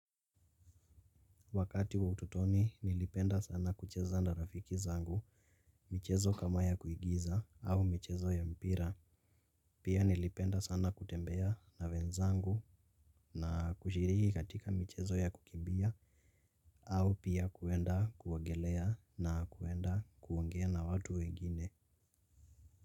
Wakati wa utotoni, nilipenda sana kucheza na rafiki zangu, michezo kama ya kuigiza, au michezo ya mpira. Pia nilipenda sana kutembea na wenzangu na kushiriki katika michezo ya kukimbia, au pia kuenda kuogelea na kuenda kuongea na watu wengine.